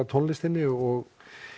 tónlistinni og